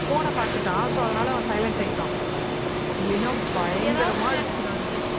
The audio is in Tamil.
phone ன பாத்துட்டான். so அதனால அவன் silent ஆயிட்டான். இல்லைன்னா பயங்கரமா அடிச்சிக்கிறானுங்க